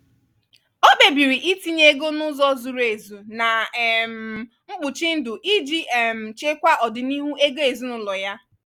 ọ kpebiri itinye ego n’ụzọ zuru ezu na um mkpuchi ndụ iji um chekwaa ọdịnihu ego ezinụlọ ya.